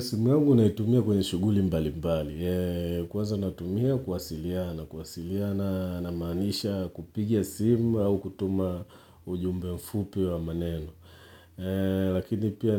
Simu yangu naitumia kwenye shughuli mbali mbali. Kwaaza natumia kuwasiliana, kuwasiliana namaanisha kupiga simu au kutuma ujumbe mfupi wa maneno. Lakini pia